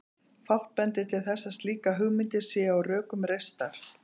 Fátt bendir til þess að slíkar hugmyndir séu á rökum reistar.